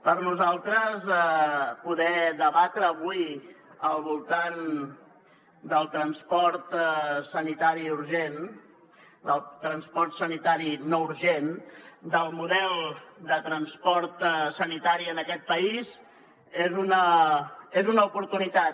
per nosaltres poder debatre avui al voltant del transport sanitari urgent del transport sanitari no urgent del model de transport sanitari en aquest país és una oportunitat